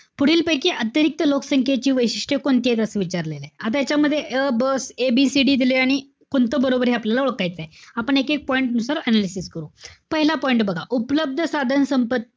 पुढीलपैकी अतिरिक्त लोकसंख्येची वैशिष्ट्य कोणती येतात. असं विचारलेलंय. आता यांच्यामध्ये अ, ब ABCD दिलेलं आणि कोणतं बरोबरे हे आपल्याला ओळखायचंय. आपण एकेक point नुसार analysis करू. पहिला point बघा. उपलब्ध साधन संपत्ती,